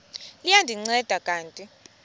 liya ndinceda kanti